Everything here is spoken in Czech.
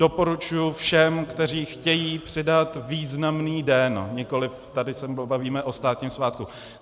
Doporučuji všem, kteří chtějí přidat významný den, nikoliv, tady se bavíme o státním svátku.